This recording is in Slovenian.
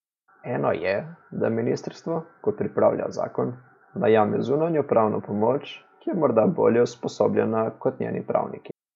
Eno je, da ministrstvo, ko pripravlja zakon, najame zunanjo pravno pomoč, ki je morda bolje usposobljena kot njeni pravniki.